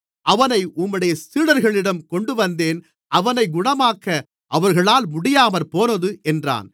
அவனை உம்முடைய சீடர்களிடம் கொண்டுவந்தேன் அவனை குணமாக்க அவர்களால் முடியாமற்போனது என்றான்